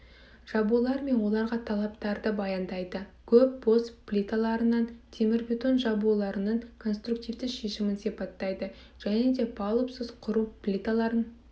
жабулар мен оларға талаптарды баяндайды көп бос плиталарынан темірбетон жабуларының конструктивті шешімін сипаттайды және де палубсыз құру плиталарын